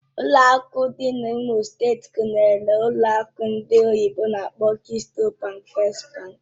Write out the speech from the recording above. Ụlọ akụ dị na imo steeti gụnyere ụlọ akụ ndị oyibo n'akpọ "Keystone bank", "First Bank" wgz